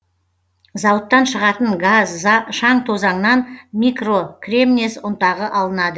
зауыттан шығатын газ шаң тозаңнан микрокремнез ұнтағы алынады